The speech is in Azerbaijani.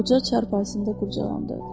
Qoca çarpayısında qucaqlandırdı.